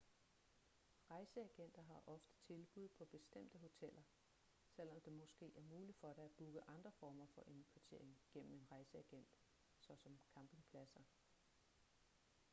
rejseagenter har ofte tilbud på bestemte hoteller selvom det måske er muligt for dig at booke andre former for indkvartering gennem en rejseagent såsom campingpladser